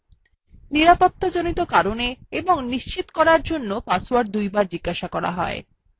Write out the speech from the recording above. নিরাপত্তাজড়িত কারণে এবং নিশ্চিত করার জন্য পাসওয়ার্ড দুবার জিজ্ঞাসা করা হয়